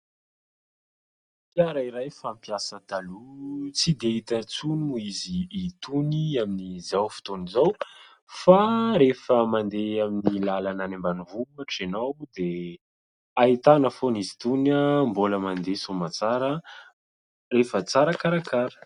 Fiara iray fampiasa taloha tsy dia hita intsony moa izy itony amin'izao fotoana izao, fa rehefa mandeha amin'ny lalana any ambanivohitra ianao dia ahitana foany izy itony ah, mbola mandeha soa aman-tsara rehefa tsara karakara.